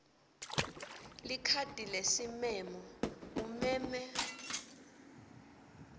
likhadi lesimemo umeme